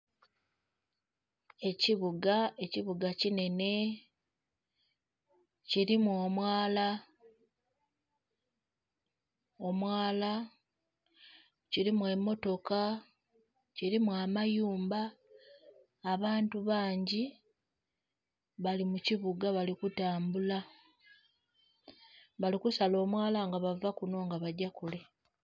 Ekibuga, ekibuga kinhene kilimu omwala, omwala kilimu emotoka, kilimu amayumba, abantu bangi bali mu kibuga bali kutambula bali kusala omwala nga bava kunho bagya kule.